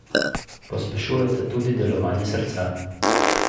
Pospešujeta tudi delovanje srca.